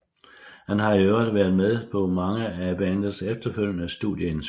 Han har i øvrigt været med på mange af bandets efterfølgende studieindspilninger